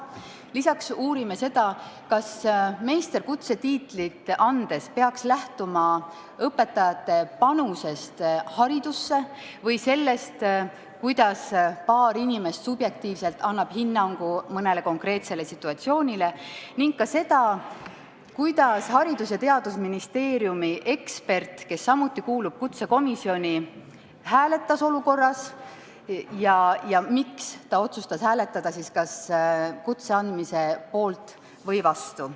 Lisaks uurime seda, kas meisterõpetaja kutset andes peaks lähtuma õpetaja panusest haridusse või sellest, kuidas paar inimest subjektiivselt annavad hinnangu mõnele konkreetsele situatsioonile, ning ka seda, kuidas Haridus- ja Teadusministeeriumi ekspert, kes samuti kuulub kutsekomisjoni, hääletas selles olukorras ja miks ta otsustas hääletada kas kutse andmise poolt või vastu.